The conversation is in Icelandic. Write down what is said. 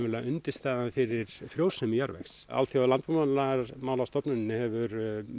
undirstaða fyrir frjósemi jarðvegs alþjóða landbúnaðarmálastofnunin hefur